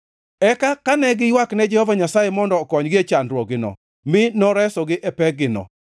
Eka ne giywakne Jehova Nyasaye mondo okonygi e chandruokgino mi noresogi e pekgino;